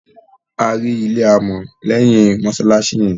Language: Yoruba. À ri ilẹ̀ àmọ̀ lẹ́yìn mosalasi yẹn.